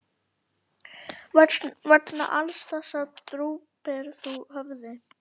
Vegna alls þessa drúpir þú höfði.